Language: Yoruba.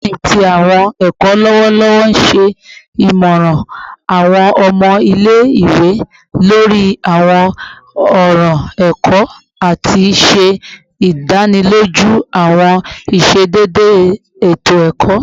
Dean ti Awọn ẹkọ lọwọlọwọ ṣe imọran awọn ọmọ ile-iwe lori awọn ọran ẹkọ ati ṣe idaniloju awọn iṣedede eto-ẹkọ